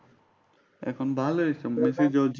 এখন ভালোই মেসি জিতছে।